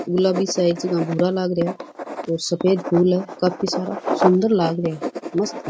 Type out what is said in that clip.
गुलाबी सा भूरा लाग रेहा है और सफ़ेद फूल है काफी सारा सुन्दर लाग रा है मस्त है।